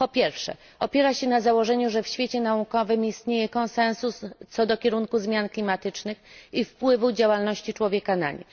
Po pierwsze, opiera się na założeniu, że w świecie naukowym istnieje konsensus, co do kierunku zmian klimatycznych i wpływu działalności człowieka na nie.